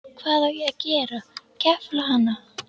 Hvað á ég að gera, kefla hana?